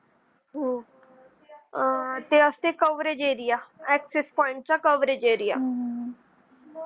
आह ते असते coverage area access point चा coverage area .